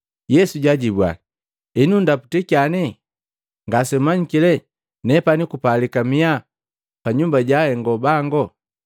Yesu jaajibua, “Henu nndaputya kyane? Ngasemmanyiki le nepani kupalika miya pa Nyumba ja Ahengo bango?”